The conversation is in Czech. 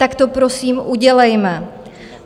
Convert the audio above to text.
Tak to, prosím, udělejme.